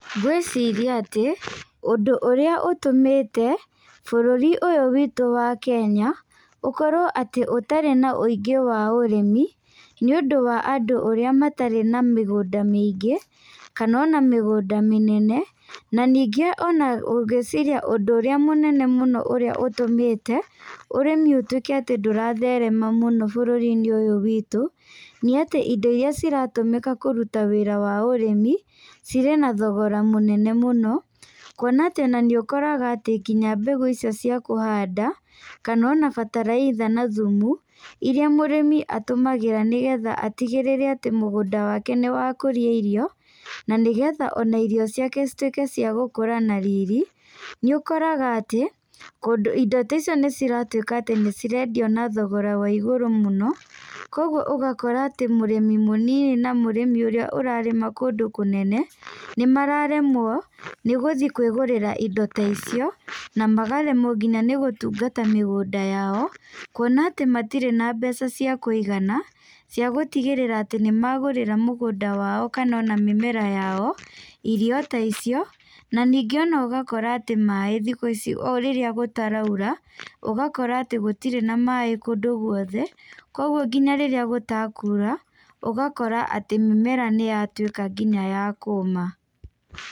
Ngwĩciria atĩ, ũndũ ũrĩa ũtũmĩte bũrũri ũyũ witũ wa Kenya ũkorwo atĩ ũtarĩ na ũingĩ wa ũrĩmi, nĩ ũndũ wa andũ ũrĩa matarĩ na mĩgũnda mĩingĩ, kana ona mĩgũnda mĩnene. Na ningĩ ona ngwĩciria ũndũ ũrĩa mũnene mũno ũrĩa ũtũmĩte ũrĩmi ũtuĩke atĩ ndũratherema mũno bũrũrinĩ ũyũ witũ, nĩ atĩ indo iria ciratũmĩka kũruta wĩra wa ũrĩmi, ciri na thogora mũnene mũno. Kuona atĩ ona nĩ ũkoraga atĩ nginya mbegũ icio cia kũhanda, kana ona bataraitha na thumu, iria mũrĩmi atũmagĩra nĩgetha atigĩrĩre atĩ mũgũnda wake nĩ wakũria irio, na nĩgetha ona irio ciake cituĩke cia gũkũra na riri, nĩ ũkoraga atĩ kũndũ indo ta icio nĩ ciratuĩka atĩ nĩ cirendio na thogora wa igũrũ mũno. Koguo ũgakora atĩ mũrĩmi mũnini, na mũrĩmi ũrĩa ũrarĩma kũndũ kũnene nĩ mararemwo nĩ gũthi kwĩgũrĩra indo ta icio, na magaremwo nginya nĩ gũtungata mĩgũnda yao. Kuona atĩ matirĩ na mbeca cia kũigana cia gũtigĩrĩra atĩ nĩ magũrĩra mũgũnda wao kana ona mĩmera yao irio ta icio. Na ningĩ ona ũgakora atĩ maĩ thĩku ici, o rĩrĩa gũtaraura, ũgakora atĩ gũtirĩ na maĩ kũndũ guothe. Koguo nginya rĩrĩa gũtakura, ũgakora atĩ mĩmera nĩ yatuĩka nginya ya kũma.